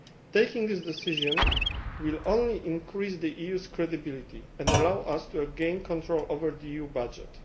Taking this decision will only increase the EU's credibility and allow us to gain control over the EU budget.